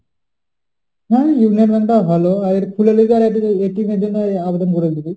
হ্যাঁ Union bank টা ও ভালো। আর খুলে নিবি আর তোর এর জন্য আবেদন করে দিবি।